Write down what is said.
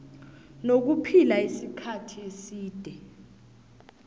nokuphila isikhathi eside